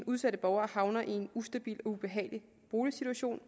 udsatte borgere havner i en ustabil og ubehagelig boligsituation